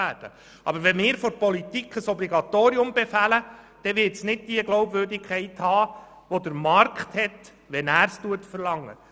Aber wenn die Politik ein Obligatorium befiehlt, wird es nicht diese Glaubwürdigkeit erhalten, wie es ihn durch den Markt erhält, wenn er es verlangt.